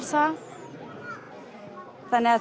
það